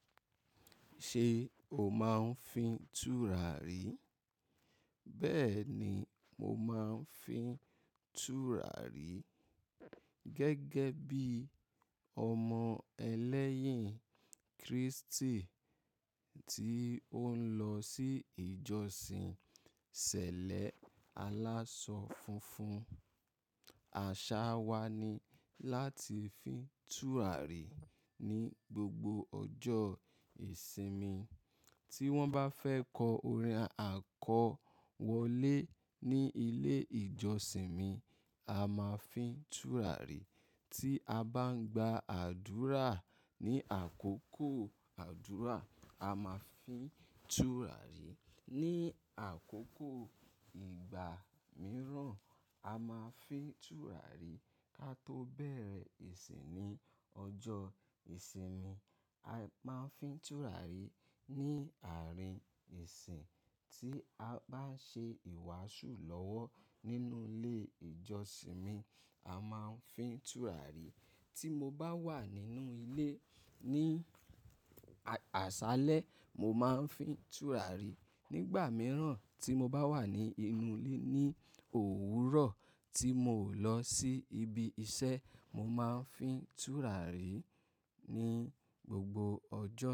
Ṣé o máa ń fín túràrí? Bẹ́ẹ̀ ni mo máa ń fín túràrí. Gẹ́gẹ́ bí ọmọ ẹlẹ́yìn Kristi tí ó ń lọ sí ìjọsìn ṣẹlẹ alásọ funfun. Àṣà wa ni láti fín túràrí ní gbogbo ọjọ́ ìsinmi. Tí wọ́n bá fẹ́ kọ orin àkọwọlé ní ilé ìjọsìn mi, a máa fín túràrí. Tí a bá ń gba àdúrà ní àkókò àdúrà, a máa fín túràrí. Ni àkókò ìgbà mìíràn, a máa fín túràrí. Ká tó bẹ̀rẹ̀ ìsìn ní ọjọ́ ìsinmi, a máa fín túràrí. Ni àárín ìsìn tí a bá ń ṣe ìwàásù lọ́wọ́ nínú ilé ìjọsìn mi, a máa fín túràrí. Tí mo bá wà nínú ilé ní àṣálẹ́, mo máa ń fín túràrí. Ni ìgbà mìíràn tí mo bá wà ní inú ilé ní òwúrọ̀ tí mo ò lọ sí ibi iṣẹ́, mo máa ń fín túràrí ní gbogbo ọjọ́.